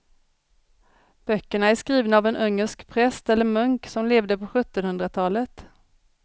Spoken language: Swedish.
Böckerna är skrivna av en ungersk präst eller munk som levde på sjuttonhundratalet.